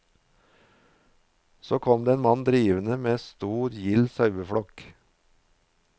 Så kom det en mann drivende med en stor gild sauedrift.